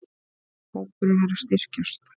Hópurinn er að styrkjast.